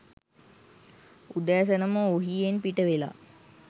උදෑසනම ඔහියෙන් පිටවෙලා